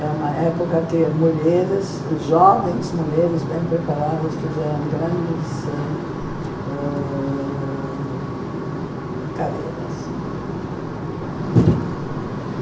É uma época que mulheres, jovens mulheres, bem preparadas, fizeram grandes ãh ãh careiras.